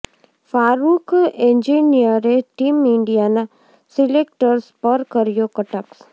ફારૂખ એન્જિનિયરે ટીમ ઇન્ડિયાના સિલેક્ટર્સ પર કર્યો કટાક્ષ